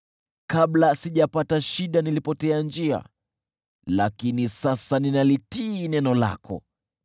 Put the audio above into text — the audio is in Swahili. Kabla sijapata shida nilipotea njia, lakini sasa ninalitii neno lako.